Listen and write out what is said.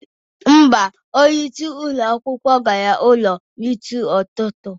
Mba, onyeisi ụlọ akwụkwọ gara ụlọ n'isi ụtụtụ